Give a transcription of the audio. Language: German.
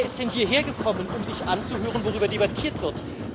Wer ist denn hierher gekommen, um sich anzuhören, worüber hier debattiert wird?